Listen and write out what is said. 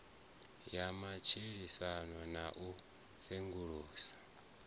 ya matshilisano na u sengulusa